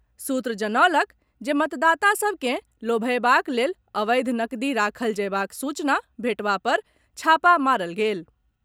सूत्र जनौलक जे मतदाता सभ के लोभएबाक लेल अवैध नकदी राखल जएबाक सूचना भेटबा पर छापा मारल गेल।